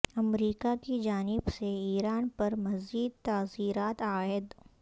امریکہ کی جانب سے ایران پر مزید تعزیرات عائد